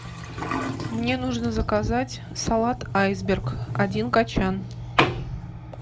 мне нужно заказать салат айсберг один качан